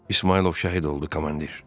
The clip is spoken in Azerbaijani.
İsmayılov şəhid oldu komandir.